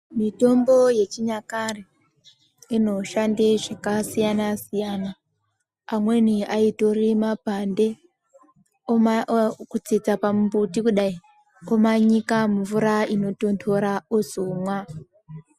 Mitombo yechinyakare inoshanda zvakasiyana siyana amweni aitora mapande kutsetsa pamuti kudai womanyika mumvura inotondora ozomwa.